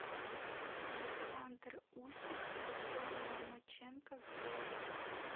александр усик о бое ломаченко гвоздик